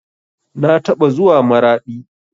Na taɓa zuwa maraɗi